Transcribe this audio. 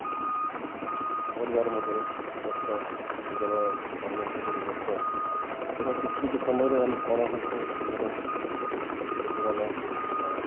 ପରିବାର ମଧ୍ୟରେ ବ୍ୟସ୍ତ ନିଜର କର୍ମ ଭୂମିରେ ବ୍ୟସ୍ତ ଏବଂ କିଛି କିଛି ସମୟରେ ଆମେ କଣ ହୁଏ ଆମର କିଛି ଲୋକମାନେ ଅ